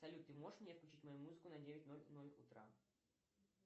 салют ты можешь мне включить мою музыку на девять ноль ноль утра